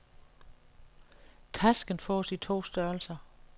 Tasken fås i to størrelser.